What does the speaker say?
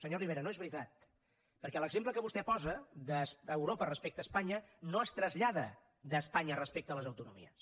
senyor rivera no és veritat perquè l’exemple que vostè posa d’europa respecte a espanya no es trasllada d’espanya respecte a les autonomies